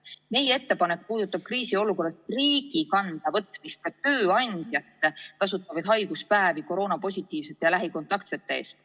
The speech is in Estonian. Aga meie ettepanek puudutab seda, et kriisiolukorras võtaks riik enda kanda ka tööandjate makstavad haiguspäevad koroonapositiivsete ja lähikontaktsete eest.